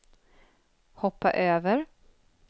hoppa över